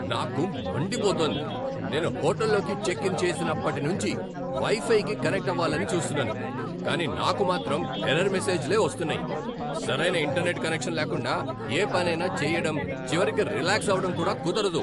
నాకు మండిపోతోంది! నేను హోటల్లోకి చెక్ ఇన్ చేసినప్పటి నుంచి వై ఫైకి కనెక్ట్ అవ్వాలని చూస్తున్నాను, కానీ నాకు మాత్రం ఎర్రర్ మెసేజ్లే వస్తున్నాయి. సరైన ఇంటర్నెట్ కనెక్షన్ లేకుండా ఏ పనైనా చేయడం, చివరికి రిలాక్స్ అవటం కూడా కుదరదు.